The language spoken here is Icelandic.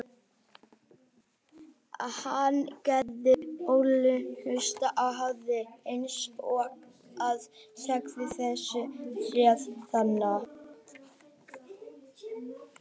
Hann gerir ótrúlega hluti á æfingum eins og að segja: Sérðu tréð þarna?